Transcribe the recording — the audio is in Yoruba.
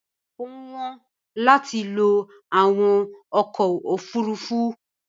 Ó wọ́n láti lo àwọn ọkọ̀ òfurufú.